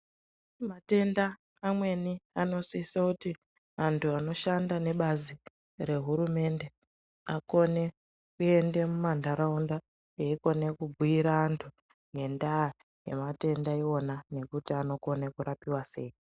Matenda amweni anosise kuti antu anoshanda nebazi rehurumende akone kuende mumandaraunda eikone kubhuyira antu ngenda yematenda iwona nekuti anokona kurapiwa sei.